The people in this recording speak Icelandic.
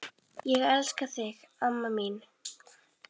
Ég elska þig amma mín.